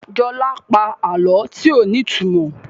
Jola pa àlọ tíó ní ìtumọ̀.